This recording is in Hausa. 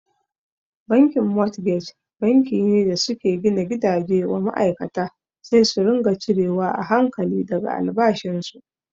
Bankin motgej banki ne da suke gina gidaje wa ma'aikata sai su ringa cire wa a hankali daga albashin su.